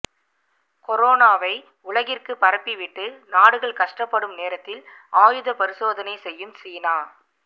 கொரோனாவை உலகிற்கு பரப்பிவிட்டு நாடுகள் கஷ்ட்டபடும் நேரத்தில் ஆயுத பரிசோதனை செய்யும் சீனா